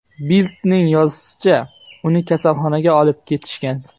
Bild’ning yozishicha , uni kasalxonaga olib ketishgan.